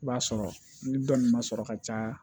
I b'a sɔrɔ ni dɔnni ma sɔrɔ ka caya